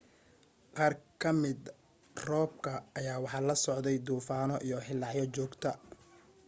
qaar ka mida roobka ayaa waxa la socday duufano iyo hilaacyo joogta